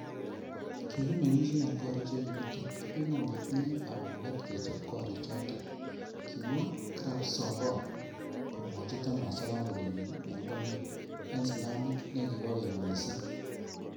"Kikimeng'isie en gorik che kibutok ak kimon ketinye kamuget kechob gorichoton."Kimwa Krabsomboon komwochi Thomas ak kompuninyin en gonyin en slamit nekikobo keny missing.